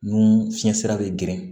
Nun fiɲɛ sira bɛ geren